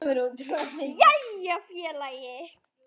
Jæja félagi!